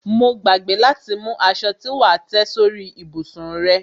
Mo gbàgbé láti mú aṣo tí wà á tẹ́ sórí ìbùsùn rẹ.